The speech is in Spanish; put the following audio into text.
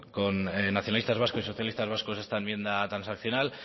con nacionalistas vascos y socialistas vascos esta enmienda transaccional